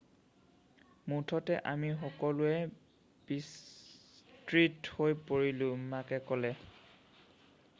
মুঠতে আমি সকলোৱে বিস্মিত হৈ পৰিলোঁ মাকে ক'লে